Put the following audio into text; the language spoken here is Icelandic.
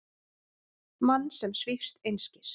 Mann sem svífst einskis.